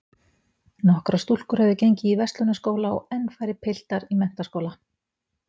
Nokkrar stúlkur höfðu gengið á Verslunarskóla og enn færri piltar í menntaskóla.